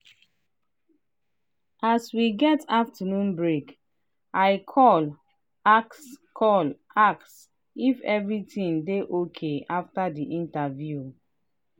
as we get afternoon break i call ask call ask if everything dey okay after the interview.